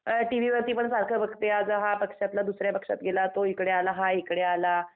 TV वरती पण सारखं बघते आज हा पक्षातला दुसऱ्या पक्षात गेला तो हिकडे आला हा हिकडे आला.